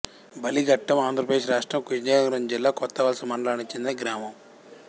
బలిఘట్టంఆంధ్ర ప్రదేశ్ రాష్ట్రం విజయనగరం జిల్లా కొత్తవలస మండలానికి చెందిన గ్రామం